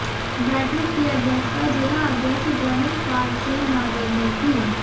बैठक की अध्यक्षता जिला अध्यक्ष ब्रहमपाल सिंह नागर ने की